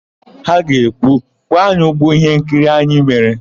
Ha ga-ekwu, "kwụọ anyị ụgwọ íhénkiri anyị mere"!